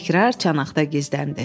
Təkrar çanaqda gizləndi.